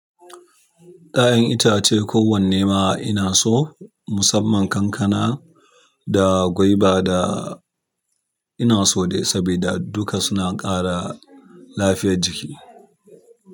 Ah kayan itace kowanne ma ina so. Musamman kankana da guava da. Ina so dai sabida duka suna ƙara lafiyar jiki.